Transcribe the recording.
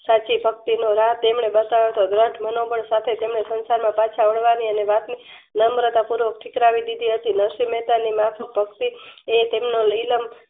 સાચી ભક્તિનો માર્ગ તેમને બતાવ્યો હતો ગ્રન્થ મનોબળ સાથે તેમણે સંસારના પાછા અનવારી અને વાપી નમર્તા પૂર્વક ઠીકરાવી દીધી હતી નરસિંહ મહેતાની માફક ભક્તિ એતેમનો નિરલમ્બ